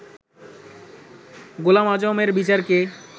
গোলাম আযমের বিচারকে